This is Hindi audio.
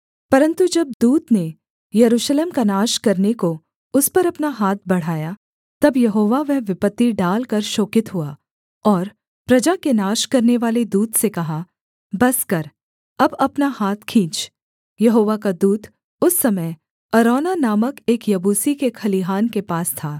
परन्तु जब दूत ने यरूशलेम का नाश करने को उस पर अपना हाथ बढ़ाया तब यहोवा वह विपत्ति डालकर शोकित हुआ और प्रजा के नाश करनेवाले दूत से कहा बस कर अब अपना हाथ खींच यहोवा का दूत उस समय अरौना नामक एक यबूसी के खलिहान के पास था